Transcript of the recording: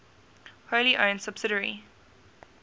wholly owned subsidiary